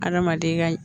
Adamaden ka